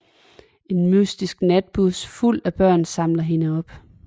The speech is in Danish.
En mystisk natbus fuld af børn samler hende op